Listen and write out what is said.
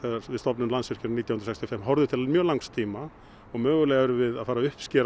við stofnun Landsvirkjunar nítján hundruð sextíu og fimm horfðu til mjög langs tíma og mögulega erum við að fara að uppskera